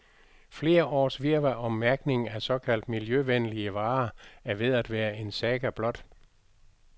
Flere års virvar om mærkning af såkaldt miljøvenlige varer er ved at være en saga blot.